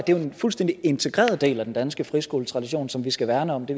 en fuldstændig integreret del af den danske friskoletradition som vi skal værne om det